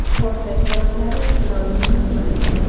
Portlash sabablari ma’lum qilinmadi.